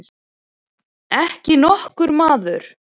Ekki nokkur maður.